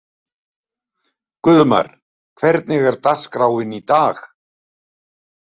Guðmar, hvernig er dagskráin í dag?